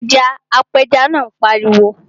Mu ẹja! Apẹja náà pariwo.